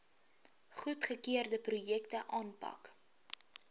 goedgekeurde projekte aanpak